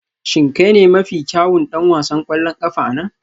Shin kai ne mafi kyawun ɗan wasan ƙwallon ƙafa a nan?